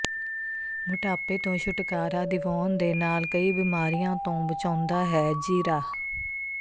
ਮੋਟਾਪੇ ਤੋਂ ਛੁੱਟਕਾਰਾ ਦਿਵਾਉਣ ਦੇ ਨਾਲ ਕਈ ਬਿਮਾਰੀਆਂ ਤੋਂ ਬਚਾਉਂਦਾ ਹੈ ਜੀਰਾ